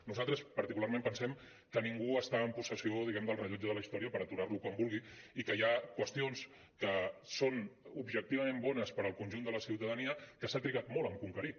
nosaltres particularment pensem que ningú està en possessió diguem·ne del rellotge de la història per aturar·lo quan vulgui i que hi ha qüestions que són ob·jectivament bones per al conjunt de la ciutadania que s’han trigat molt a conquerir